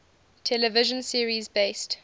television series based